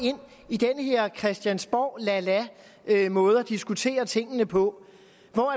i den her christiansborg lala måde at diskutere tingene på